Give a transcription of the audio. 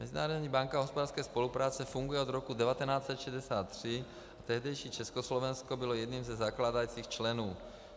Mezinárodní banka hospodářské spolupráce funguje od roku 1963 a tehdejší Československo bylo jedním ze zakládajících členů.